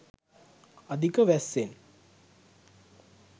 අධික වැස්සෙන්